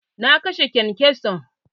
Na kashe kyankyason.